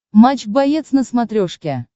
матч боец на смотрешке